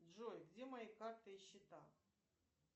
джой где мои карты и счета